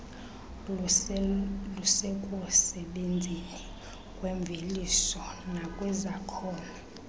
lusekusebenzeni kwemveliso nakwizakhono